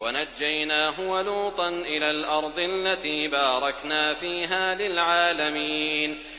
وَنَجَّيْنَاهُ وَلُوطًا إِلَى الْأَرْضِ الَّتِي بَارَكْنَا فِيهَا لِلْعَالَمِينَ